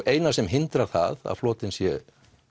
eina sem hindrar það að flotinn sé